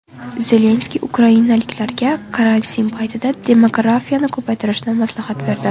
Zelenskiy ukrainaliklarga karantin paytida demografiyani ko‘paytirishni maslahat berdi.